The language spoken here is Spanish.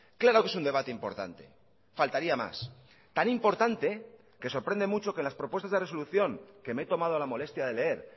claro que es un debate importante faltaría más tan importante que sorprende mucho que las propuestas de resolución que me he tomado la molestia de leer